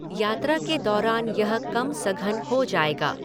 यात्रा के दौरान यह कम सघन हो जाएगा।